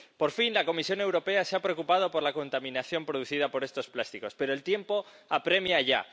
Por fin, la Comisión Europea se ha preocupado por la contaminación producida por estos plásticos, pero el tiempo apremia ya.